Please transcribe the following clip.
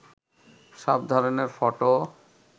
সব ধরনের ফটো